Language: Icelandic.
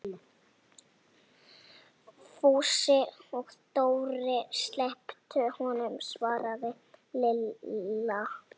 Fúsi og Dóri slepptu honum svaraði Lilla.